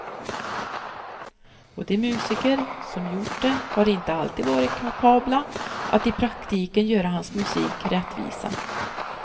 Och de musiker som gjort det har inte alltid varit kapabla att i praktiken göra hans musik rättvisa.